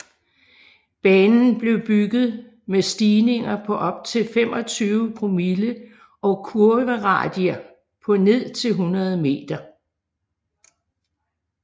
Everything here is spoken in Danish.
Banen blev bygget med stigninger på op til 25 promille og kurveradier på ned til 100 meter